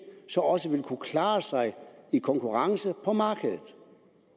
også ville kunne klare sig i konkurrence på markedet